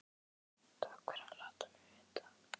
Takk fyrir að láta mig vita